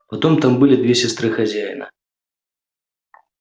потом там были две сестры хозяина